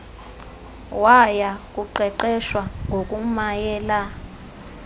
waya kuqeqeshwa ngokumayela